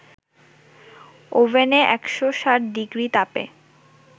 ওভেনে ১৬০ ডিগ্রি তাপে